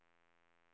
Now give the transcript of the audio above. Hägersten